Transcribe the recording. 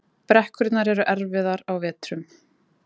Brekkurnar eru erfiðar á vetrum